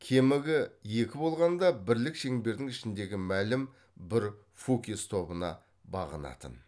кемігі екі болғанда бірлік шеңбердің ішіндегі мәлім бір фукес тобына бағынатын